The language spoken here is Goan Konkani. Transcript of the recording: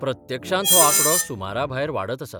प्रत्यक्षांत हो आंकडो सुमराभायर वाडत आसा.